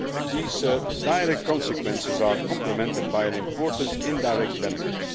These direct consequences are complemented by an important indirect benefit.